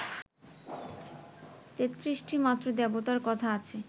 তেত্রিশটিমাত্র দেবতার কথা আছে